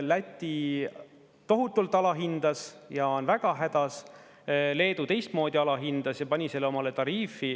Läti tohutult alahindas ja on väga hädas, Leedu teistmoodi alahindas ja pani selle omale tariifi.